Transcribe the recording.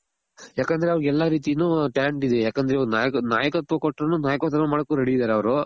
ಯಾಕಂದ್ರೆ ಅವ್ರಗ್ ಎಲ್ಲಾ ರೀತಿನು talent ಇದೆ ಯಾಕಂದ್ರೆ ಇವಾಗ ನಾಯಕತ್ವ ನಾಯಕತ್ವ ಕೊಟ್ರುನು ಮಾಡಕ್ ready ಇದಾರೆ ಅವ್ರು